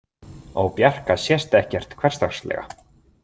Á Bjarka sést ekkert hversdagslega.